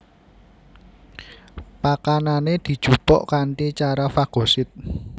Pakanané dijupuk kanthi cara fagosit